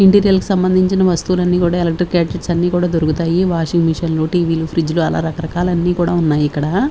Interior కి సంబంధించిన వస్తువులన్నీ కూడా ఎలక్ట్రిక్ గాడ్జెట్స్ అన్ని కూడా దొరుకుతాయి వాషింగ్ మెషిన్ లు టీ_వీ లు ఫ్రిడ్జ్ లు అలా రకరకాల అన్ని కూడా ఉన్నాయి ఇక్కడ.